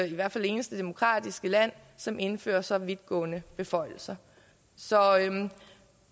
i hvert fald det eneste demokratiske land som indfører så vidtgående beføjelser så